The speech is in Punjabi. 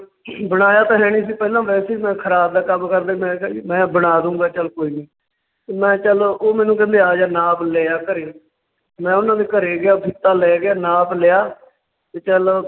ਬਣਾਇਆ ਤਾਂ ਹੈਨੀ ਸੀ ਪਹਿਲਾਂ ਵੈਸੇ ਹੀ ਮੈਂ ਖਰਾਦ ਦਾ ਕੰਮ ਕਰਦਾ ਸੀ, ਮੈਂ ਕਿਹਾ ਜੀ ਮੈਂ ਬਣਾ ਦਊਂਗਾ ਚੱਲ ਕੋਈ ਨੀਂ ਤੇ ਮੈਂ ਚੱਲ ਉਹ ਮੈਨੂੰ ਕਹਿੰਦੇ ਆਜਾ ਨਾਪ ਲਏ ਆ ਘਰੇ, ਤੇ ਮੈਂ ਉਹਨਾਂ ਦੇ ਘਰੇ ਗਿਆ ਫੀਤਾ ਲੈ ਗਿਆ ਨਾਪ ਲਿਆ ਤੇ ਚੱਲ